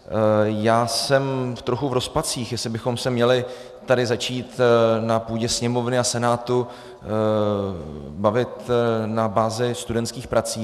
Já jsem trochu v rozpacích, jestli bychom se měli tady začít na půdě Sněmovny a Senátu bavit na bázi studentských prací.